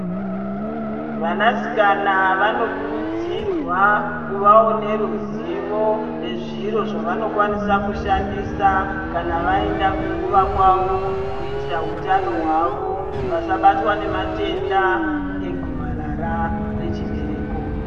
Vanasikana vanokurudzirwa kuvawo neruzivo nezviro zvavanokwanisa kushandisa kana vaenda kunguwa kwavo kuitira utano hwawo vasabatwa nematenda egomarara rechibereko.